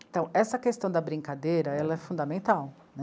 Então, essa questão da brincadeira, ela é fundamental né.